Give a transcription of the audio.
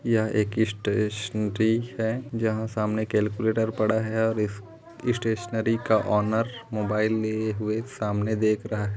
यह एक स्टेशनरी है जंहा सामने कैलक्यूलेटर पड़ा है इस स्टेशनरी का ओनर मोबाइल लिए हुए सामने देख रहा है।